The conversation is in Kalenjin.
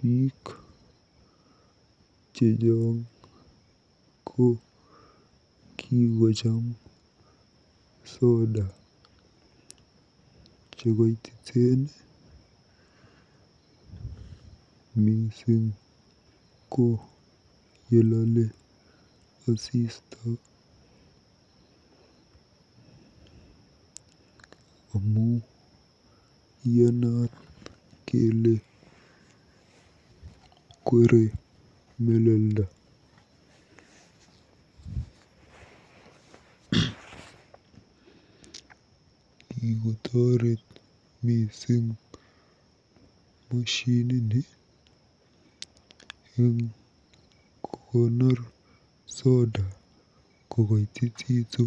Biik chechang ko kikocham soda chekoititen mising ko yelale asista amu iyanat kele kwere melelda. Kikotoret mising moshinini eng kokonor soda kokoitititu.